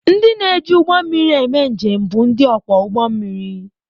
Ndị na-eji ụgbọ mmiri eme njem bụ ndị ọkwọ ụgbọ mmiri.